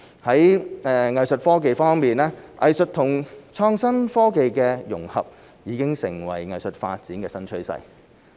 在藝術科技方面，藝術與創新科技的融合已成為藝術發展的新趨勢。